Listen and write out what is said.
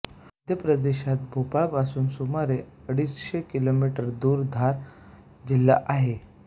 मध्यप्रदेशात भोपाळपासून सुमारे अडीचशे किलोमीटर दूर धार जिल्हा आहे